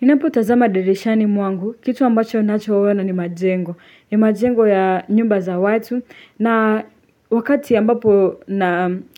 Ninapotazama dirishani mwangu. Kitu ambacho ninachoona ni majengo. Ni majengo ya nyumba za watu. Na wakati ambapo